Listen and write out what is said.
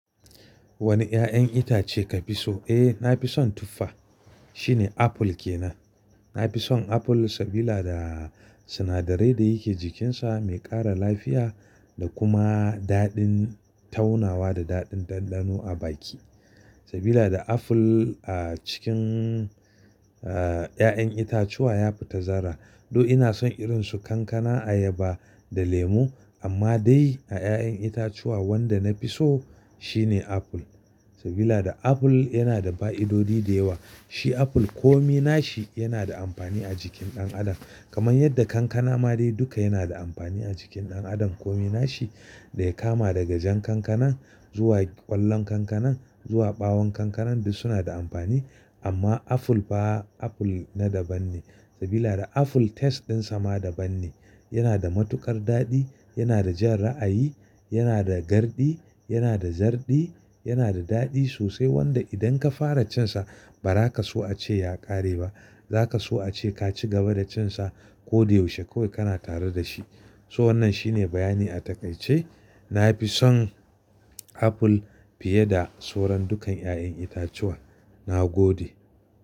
Wani ya'yan itace ka fi so? Eh, na fi son tuffa. Shi ne apple ke nan. Na fi son apple sabila da sinadarai da yake jikinsa mai ƙara lafiya da kuma daɗin taunawa da daɗin ɗanɗano a baki. Sabila da apple a cikin, ah, ya'yan itacuwa ya fi tazara. Though ina son irin su kankana, ayaba da lemo. Amma dai a ya'yan itacuwa wanda na fi so shine apple. Sabila da apple yana da fa'idodi da yawa. Shi apple komi nashi yana da amfani a jikin ɗan adam. Kaman yadda kankana ma dai duka yana da amfani a jikin ɗan adam komi nashi da ya kama daga jan kankanan zuwa ƙwallon kankanan zuwa ɓawon kankanan duk suna da amfani. Amma apple ba apple na daban ne. Sabila da apple taste ɗinsa ma daban ne. Yana da matuƙar daɗi, yana da jan ra'ayi, yana da garɗi, yana da zarɗi, yanada daɗi sosai wanda idan ka fara cinsa bara kaso a ce ya ƙare ba. Zaka so a ce ka ci gaba da cinsa ko da yaushe kawai kana tare da shi. So wannan shine bayani a takaice. Na fi son apple fiye da soran dukan ya'yan itacuwa. Na gode.